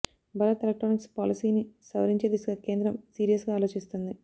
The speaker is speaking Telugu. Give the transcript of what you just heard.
భారత్ ఎలక్ట్రానిక్స్ పాలసీని సవరించే దిశగా కేంద్రం సీరియస్ గా ఆలోచిస్తోంది